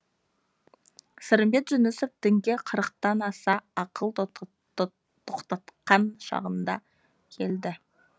сырымбет жүнісов дінге қырықтан аса ақыл тоқтатқан шағында келді